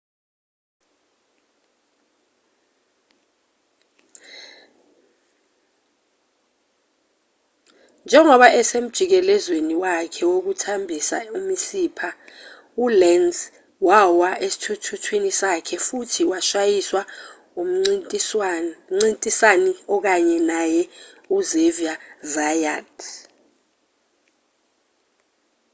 njengoba esemjikelezweni wakhe wokuthambisa imisipha ulenz wawa esithuthuthwini sakhe futhi washayiswa umncintisani okanye naye uxavier zayat